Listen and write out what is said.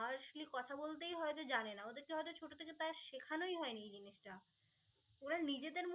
hardly কথা বলতেই হয়ত জানেনা. ওদেরকে হয়ত ছোট থেকে প্রায় শেখানোই হয়নি এই জিনিসটা. ওরা নিজেদের